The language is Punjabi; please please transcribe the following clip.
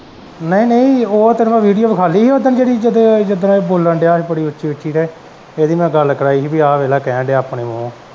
ਨਹੀਂ ਨਹੀਂ ਉਹ ਤੈਨੂੰ ਮੈਂ ਵੀਡੀਉ ਵਖਾਲੀ ਹੀ ਓਦਨ ਜੇੜੀ ਜਿਦਨ ਬੋਲਣ ਦਿਆ ਹੀ ਬੜੀ ਉੱਚੀ ਉੱਚੀ ਤੇ ਏਦੀ ਮੈਂ ਗੱਲ ਕਰਾਈ ਪੀ ਆਹ ਦੇਖਲਾ ਕੈਨ ਦਿਆ ਆਪਣੇ ਮੂੰਹੋਂ।